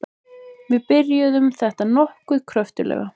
Við byrjuðum þetta nokkuð kröftuglega.